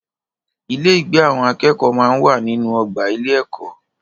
Ilé-ìgbé àwọn akẹ́kọ̀ọ́ máa ń wà nínú ọgbà ilé-ẹ̀kọ́.